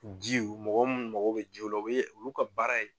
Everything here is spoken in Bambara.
Ji mɔgɔ mun mago bɛ jiw la u bɛ olu ka baara ye